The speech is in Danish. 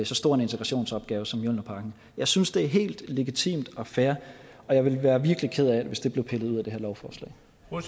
så stor en integrationsopgave som mjølnerparken jeg synes det er helt legitimt og fair og jeg ville være virkelig ked af hvis det blev pillet ud af det her lovforslag